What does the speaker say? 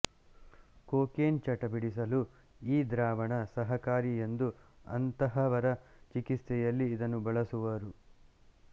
cocaine ಚಟ ಬಿಡಿಸಲು ಈ ದ್ರಾವಣ ಸಹಕಾರಿ ಎಂದು ಅಂತಹವರ ಚಿಕಿತ್ಸೆಯಲ್ಲಿ ಇದನ್ನು ಬಳಸುವರು